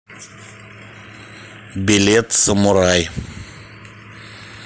билет самурай